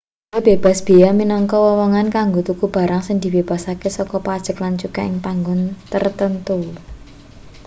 blanja bebas beya minangka wewengan kanggo tuku barang sing dibebasake saka pajeg lan cukai ing panggon tartamtu